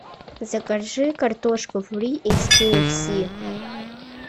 закажи картошку фри из кфс